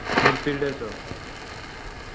mid fielders oh